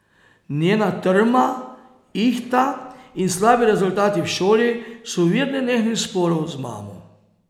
Njena trma, ihta in slabi rezultati v šoli so vir nenehnih sporov z mamo.